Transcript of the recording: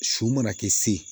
Su mana kɛ se